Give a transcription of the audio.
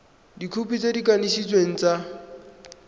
dikhopi tse di kanisitsweng tsa